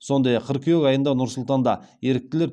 сондай ақ қыркүйек айында нұр сұлтанда еріктілер